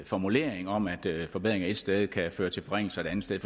formulering om at forbedringer et sted kan føre til forringelser et andet sted